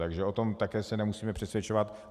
Takže o tom se také nemusíme přesvědčovat.